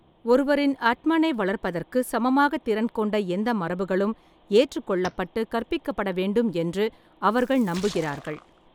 ஒருவரின் அட்மனை வளர்ப்பதற்கு சமமாக திறன் கொண்ட எந்த மரபுகளும் ஏற்றுக்கொள்ளப்பட்டு கற்பிக்கப்பட வேண்டும் என்று அவர்கள் நம்புகிறார்கள்.